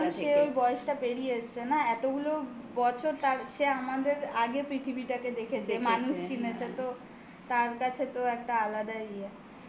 কারণ সে ওই বয়সটা পেরিয়ে এসছে. না. এতগুলো বছর তার সে আমাদের আগে পৃথিবীটাকে দেখেছে যে মানুষ চিনেছে তো তার কাছে তো একটা আলাদাই ইয়ে